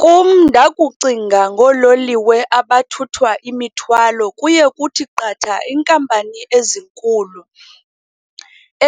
Kum, ndakucinga ngoololiwe abathutha imithwalo kuye kuthi qatha iinkampani ezinkulu